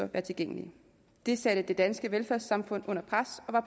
være tilgængelige det satte det danske velfærdssamfund under pres og